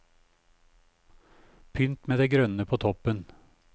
Pynt med det grønne på toppen.